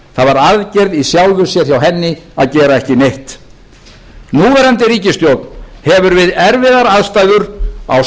var aðgerð í sjálfu sér hjá henni að gera ekki neitt núverandi ríkisstjórn hefur við erfiðar aðstæður á